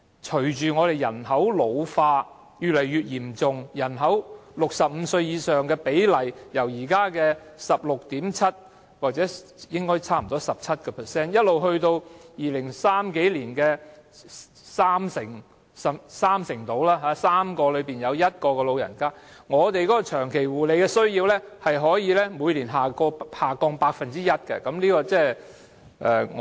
隨着人口老化越來越嚴重 ，65 歲以上人口的比例，現時為 16.7% 或差不多 17%， 但到2030年以後，將上升至三成，即每3個人中有1個是長者，但長期護理的需要可以每年下降 1%。